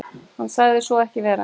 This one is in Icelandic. Hann sagði svo ekki vera.